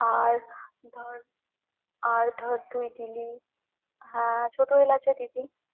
আর আর ধর তুই দিলি আহ ছোট এলাচও দিবি।